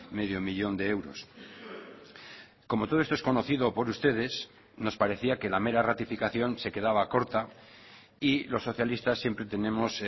medio millón de euros como todo esto es conocido por ustedes nos parecía que la mera ratificación se quedaba corta y los socialistas siempre tenemos